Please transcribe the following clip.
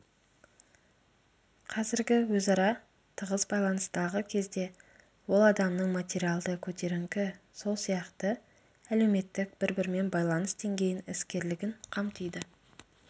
қазіргі өзара тығыз байланыстағы кезде ол адамның материалды көтеріңкі сол сияқты әлеуметтік бір-бірімен байланыс деңгейін іскерлігін қамтиды